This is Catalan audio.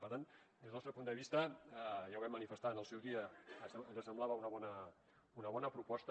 per tant des del nostre punt de vista ja ho vam manifestar en el seu dia que ens semblava una bona proposta